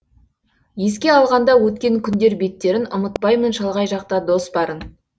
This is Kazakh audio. еске алғанда өткен күндер беттерін ұмытпаймын шалғай жақта дос барын